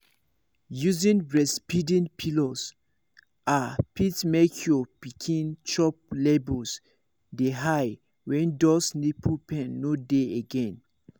using breastfeeding pillows ah fit make your pikin chop levels dey high when those nipple pain no dey again